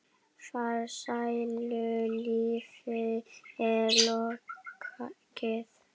Farsælu lífi er lokið.